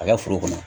A ka foro kɔnɔ